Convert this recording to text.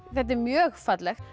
þetta er mjög fallegt